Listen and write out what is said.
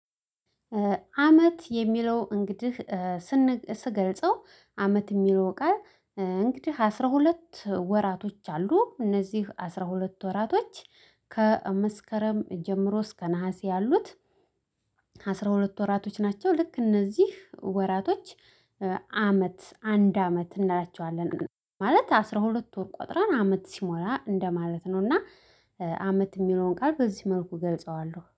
አመት የሚለው እንግዲህ ስገልጸው አመት የሚለው ቃል እንግዲህ አስራ ሁለት ወራቶች አሉ እነዚህ አስራ ሁለት ወራቶች ከመስከረም ጀምሮ እስከ ነሀሴ ያሉት አስራ ሁለት ወራቶች ናቸው። ልክ እነዚህ ወራቶች አመት አንድ አመት እናያቸዋለን ማለት አስራ ሁለት ወር ቆጥረን አመት ሲሞላ እንደማለት ነው። እና አመት የሚለውን ቃል በዚህ መልኩ እገልጸዋለሁ